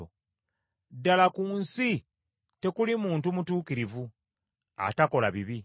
Ddala ku nsi tekuli muntu mutuukirivu, atakola bibi.